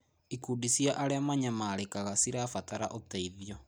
Ikundi cia arĩa manyamarĩkaga cirabatara ũteithio.